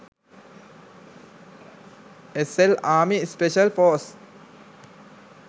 slarmy special forces